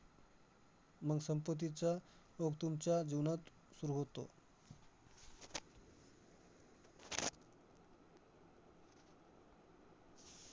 मंग संपत्तीचा ओघ तुमच्या जीवनात सुरु होतो.